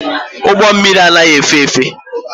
Ụgbọ mmịrị anaghị efe efe.